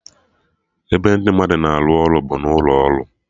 Ebe ndị mmadụ na-arụ ọrụ bụ ụlọ ọrụ